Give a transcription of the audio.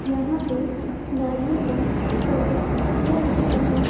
यहां पे गाड़ियों का सर्विस किया जाता है।